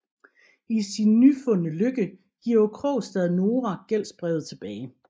I sin nyfundne lykke giver Krogstad Nora gældsbrevet tilbage